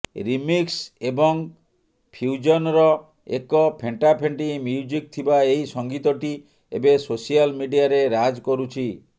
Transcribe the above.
remix ଏବଂ ଫ୍ୟୁଜନ୍ର ଏକ ଫେଣ୍ଟାଫେଣ୍ଟି ମ୍ୟୁଜିକ୍ ଥିବା ଏହି ସଙ୍ଗୀତଟି ଏବେ ସୋସିଆଲ ମିଡିଆରେ ରାଜ୍ କରୁଛି